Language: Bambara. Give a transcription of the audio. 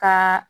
Ka